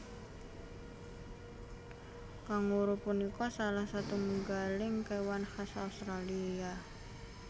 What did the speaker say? Kanguru punika salah setunggaling kéwan khas Australia